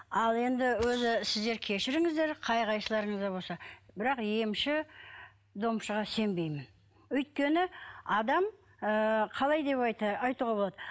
ал енді өзі сіздер кешіріңіздер қай қайсыларыңыз да болса бірақ емші домшыға сенбеймін өйткені адам ы қалай деп айтуға болады